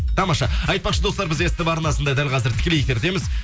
тамаша айтпақшы достар біз ств арнасында дәл қазір тікілей эфиріндеміз